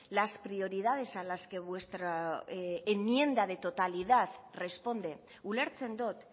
las prioridades a las que vuestra enmienda de totalidad responde ulertzen dut